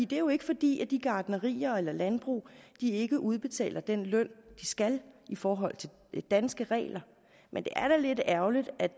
det er jo ikke fordi de gartnerier eller landbrug ikke udbetaler den løn de skal i forhold til danske regler men det er da lidt ærgerligt at